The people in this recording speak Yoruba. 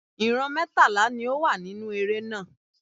Ìran mẹ́tàlá ni ó wà nínú eré náà.